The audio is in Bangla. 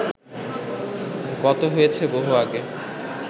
গত হয়েছে বহু আগে